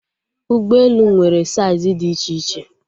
Ụgbọelu nwere saiz dị iche iche